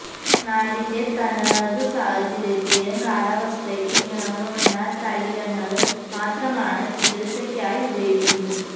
നാടിന്റെ തനതു സാഹചര്യത്തിനും കാലാവസ്ഥയ്ക്കും ഇണങ്ങുന്ന തൈലങ്ങള് മാത്രമാണ് ചികിത്സയ്ക്കായി ഉപയോഗിക്കുന്നത്